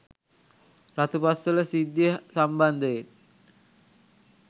රතුපස්වල සිද්ධිය සම්බන්ධයෙන්